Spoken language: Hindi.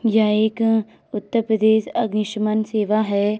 यह एक उत्तर प्रदेश अगिनशमन सेवा है।